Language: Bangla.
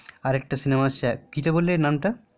আর একটা সিনেমা আসছে কি যেনো বললে নামটা